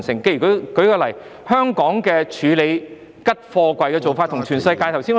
舉例來說，香港處理空貨櫃的做法與全世界不同......